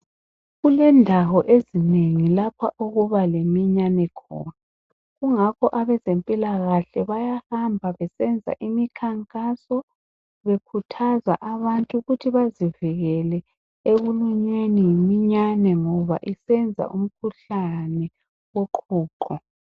Kulendawo ezinengi lapha okuba leminyane khona. Kungakho abezempilakahle bayahamba besenza imikhankaso bekhuthaza abantu ukuthi bazivikele ekulunyweni yiminyane ngoba isenza umkhuhlane woqhuqho